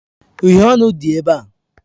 Uhiè ọnụ dị ebe a.